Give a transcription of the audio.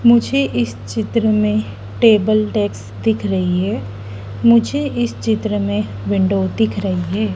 मुझे इस चित्र में टेबल डेस्क दिख रही है मुझे इस चित्र में विंडो दिख रही हैं।